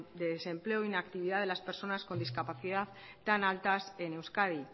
de desempleo e inactividad de las personas con discapacidad tan altas en euskadi